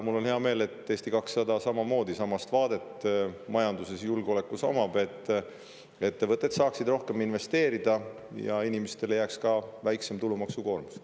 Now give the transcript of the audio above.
Mul on hea meel, et Eesti 200 omab samasugust vaadet majandusele ja julgeolekule ettevõtted saaksid rohkem investeerida ja inimestele jääks väiksem tulumaksukoormus.